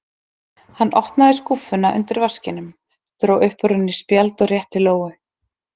Hann opnaði skúffuna undir vaskinum, dró upp úr henni spjald og rétti Lóu.